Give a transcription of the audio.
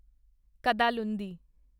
Kadalundi